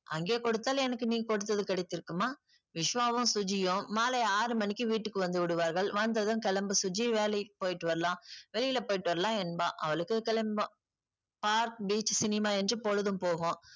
அங்கே கொடுத்தால் எனக்கு நீ கொடுத்தது கிடைத்திருக்குமா? விஸ்வாவும் சுஜியும் மாலை ஆறு மணிக்கு வீட்டுக்கு வந்து விடுவார்கள். வந்ததும் கிளம்பு சுஜி வேலைக்கு போயிட்டு வரலாம். வெளியில போயிட்டு வரலாம் என்பான். அவளுக்கு park, beach, cinema என்று பொழுதும் போகும்.